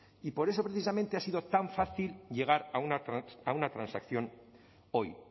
y por eso precisamente ha sido tan fácil llegar a una transacción hoy